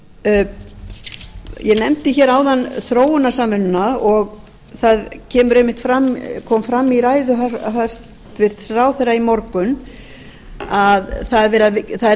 stefnubreytingu ég nefndi áðan þróunarsamvinnuna og það kom fram í ræðu hæstvirts ráðherra í morgun að það er